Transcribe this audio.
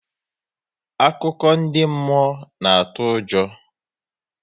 Akụkọ ndị mmụọ na-atụ ụjọ